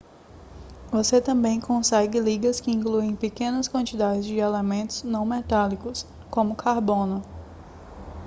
você também consegue ligas que incluem pequenas quantidades de elementos não metálicos como carbono